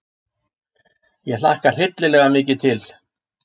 Ég hlakka hryllilega mikið til.